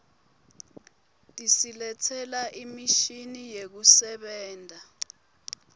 tisiletsela imishini yekusebenta